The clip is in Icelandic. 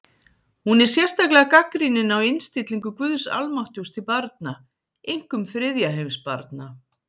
Hún er sérstaklega gagnrýnin á innstillingu guðs almáttugs til barna, einkum þriðja heims barna.